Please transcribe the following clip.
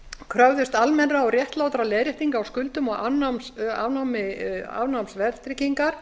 kröfðust almennra og réttlátra leiðréttinga á skuldum og afnáms verðtryggingar